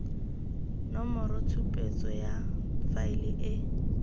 nomoro tshupetso ya faele e